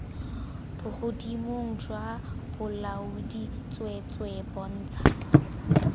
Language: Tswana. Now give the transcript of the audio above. bogodimong jwa bolaodi tsweetswee bontsha